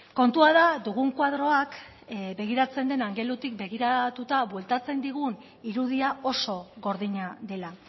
kontua da dugun koadroak begiratzen dena begiratuta bueltatzen digun irudia oso gordina dela